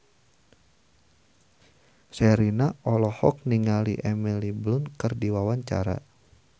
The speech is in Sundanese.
Sherina olohok ningali Emily Blunt keur diwawancara